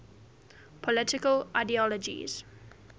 political ideologies